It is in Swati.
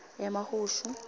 emahushu